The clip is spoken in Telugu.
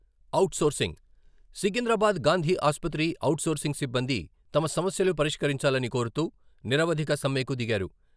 అవుట్ సోర్సింగ్ సికింద్రాబాద్ గాంధీ ఆసుపత్రి అవుట్ సోర్సింగ్ సిబ్బంది తమ సమస్యలు పరిష్కరించాలని కోరుతూ నిరవధిక సమ్మెకు దిగారు.